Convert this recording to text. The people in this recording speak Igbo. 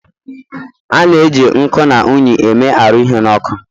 a na-eji nkuu na unyi eme arụ ihe n'ọkụ